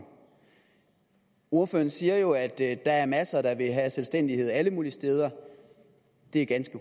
ordføreren siger jo at der der er masser der vil have selvstændighed alle mulige steder det er ganske